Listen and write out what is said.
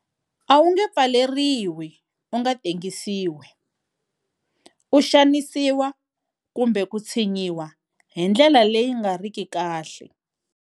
A wu nge pfaleriwi u nga tengisiwi, u xanisiwa kumbe ku tshinyiwa hi ndlela leyi nga riki kahle.